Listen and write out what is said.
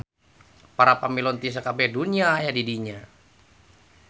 Para pamilon ti sakabeh dunya aya di dinya.